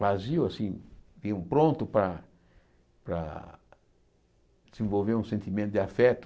Vazio, assim, meio pronto para para desenvolver um sentimento de afeto.